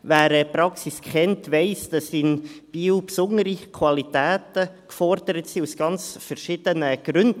Wer die Praxis kennt, weiss, dass in Biel besondere Qualitäten gefordert sind, aus ganz verschiedenen Gründen.